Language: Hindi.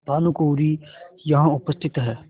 भानुकुँवरि यहाँ उपस्थित हैं